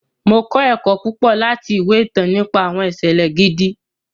Mo kọ ẹkọ púpọ láti awọn ìwé ìtàn nípa awọn iṣẹlẹ gidi.